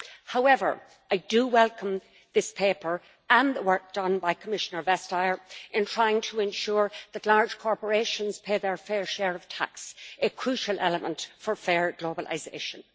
However, I do welcome this paper and the work done by Commissioner Vestager in trying to ensure that large corporations pay their fair share of tax, a crucial element for fair globalisation.